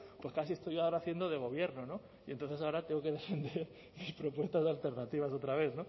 pues casi estoy yo ahora haciendo de gobierno no y entonces ahora tengo que defender mis propuestas de alternativas otra vez